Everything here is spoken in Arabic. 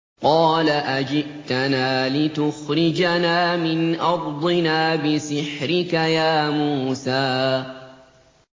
قَالَ أَجِئْتَنَا لِتُخْرِجَنَا مِنْ أَرْضِنَا بِسِحْرِكَ يَا مُوسَىٰ